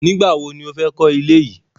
Nígbàwo ni ó fẹ́ kọ ilé yìí?